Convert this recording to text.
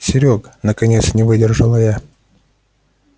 серёг наконец не выдержала я